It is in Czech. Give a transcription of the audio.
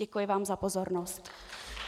Děkuji vám za pozornost.